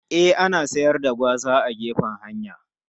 E, ana siyar da gwaza a gefen hanya.